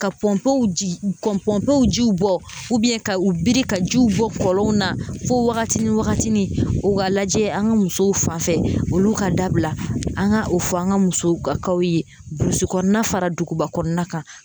Ka pɔnpew ji bɔ pɔnpew jiw bɔ ka u biri ka jiw bɔ kɔlɔn na fo wagati ni wagati ni u ka lajɛ an ka musow fan fɛ olu ka dabila an ka o fɔ an ka musow ka ye burusikɔnɔna fara dugubakɔnɔna kan